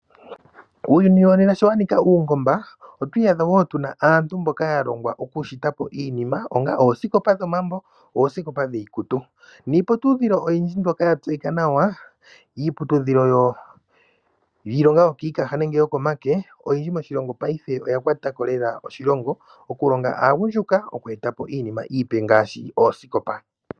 Uuyuni wo nena sho wa Nika uungomba otwii yadha wo tuna aantu mboka ya longwa okushita po iinima onga oosikopa dhomambo oosikopa dhiikutu niiputudhilo oyindji mbyoka ya tseyika nawa iiputudhilo yiilonga ykiikaha nenge yokomake, oyindji moshilongo paife oya kwata ko lela oshilongo okulonga aagundjuka okweeta po iinima iipe ngaashi oosikopa.